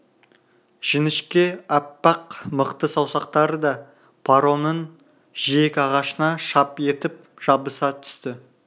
жіңішке аппақ мықты саусақтары да паромның жиек ағашына шап етіп жабыса түсті